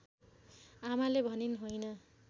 आमाले भनिन् होइन